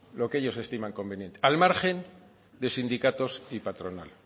lo que ellos estiman conveniente al margen de sindicatos y patronal